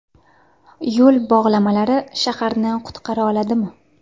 Yo‘l bog‘lamalari shaharni qutqara oladimi?.